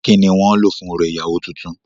Kínní wọ́n ń lò fún orò ìyàwó tuntun.